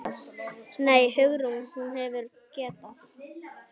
Nei, Hugrún, hún hefði getað.